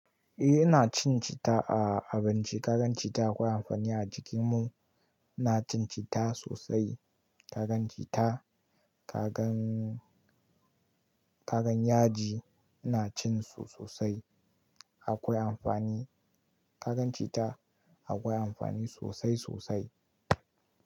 A ina cin cita a abinci. Ka gan cita akwai amfani a jikin mu. Ina cin cita sosai. Ka gan cita, ka gan, ka gan yaji ina cin su sosai. Akwai amfani. Ka gan cita akwai amfani sosai sosai.